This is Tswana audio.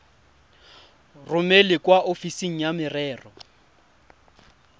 romele kwa ofising ya merero